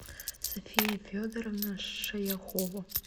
софия федоровна шаяхова